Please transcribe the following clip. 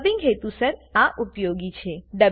dubbing હેતુસર આ ઉપયોગી છે